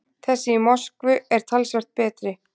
Þessi í Moskvu er talsvert betri.